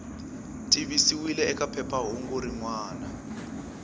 tivisiwile eka phephahungu rin wana